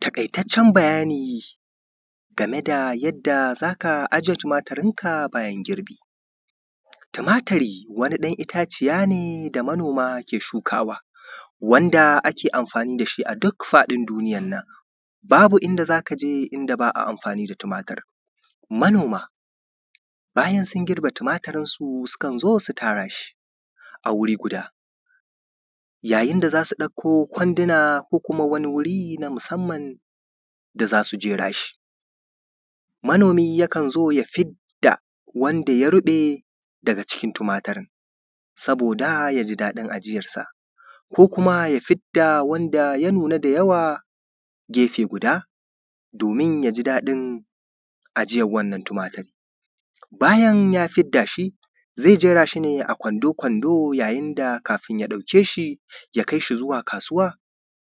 taƙaitaccen bayani game da yadda za ka ajiye tumaturin ka bayan girbi tumaturi wani ɗan itaciya ne da manoma ke shukawa wanda ake amfani da shi a duk fadin duniyan nan, babu inda za ka jika wanda ba’a amfani tumatur, manoma bayan sun girbe tumaturin su, su su kanzo su tara shi a wuri guda, yayin da za su ɗauko kwandina ko kuma wani wuri na musamman da za su jera shi. Manomi yakan zo ya fidda wanda ya ruɓe daga cikin tumaturin, domin ya ji daɗin ajiyarsa, ko kuma ya fidda wanda ya nuna da yawa, gefe guda, domin ya ji daɗin ajiyar wannan tumatur, bayan ya fidda shi, ze jera shi ne a Kwando Kwando, yajin da kafun ya ɗauke shi ya kai shi zuwa kasuwa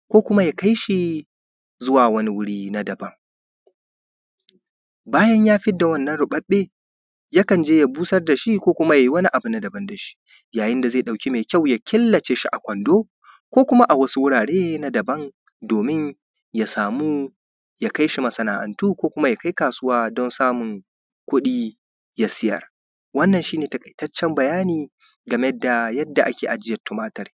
ko kuma ya kai shi zuwa wani wuri na daban, bayan ya fidda wannan ruɓaɓɓe, ya kan je ya busar da shi ko kuma yai wani abu na daaban da shi, yayin da ze ɗauki me kyawu ya killace shi a Kwando ko kuma a wasu wurare na daban domin ya samu ya kai shi masana’antu ko kuma ya kai kasuwa don sammun kuɗi, ya siyar wannan shi ne taƙaitaccen bayani game da yadda ake: ajiya tumatur.